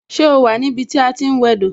Ṣé o wà ní ibi tí a ti ń wẹ do?